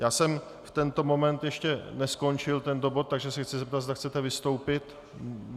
Já jsem v tento moment ještě neskončil tento bod, takže se chci zeptat, zda chcete vystoupit.